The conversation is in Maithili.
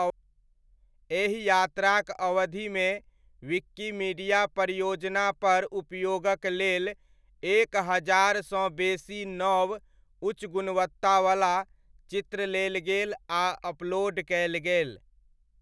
एहि यात्राक अवधिमे विकीमीडिया परियोजनापर उपयोगक लेल एक हजारसँ बेसी नव, उच्च गुणवत्तावला, चित्र लेल गेल आ अपलोड कयल गेल।